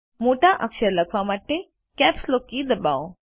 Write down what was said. મોટા અક્ષરો લખવા માટે કેપ્સલોક કી દબાવો